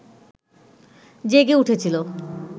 জেগে উঠেছিল